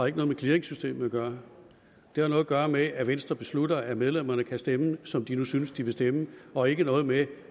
ikke noget med clearingsystemet at gøre det har noget at gøre med at venstre beslutter at medlemmerne kan stemme som de nu synes de vil stemme og ikke noget med